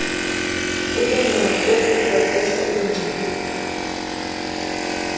kubenakho ukuqeqeshwa iingcali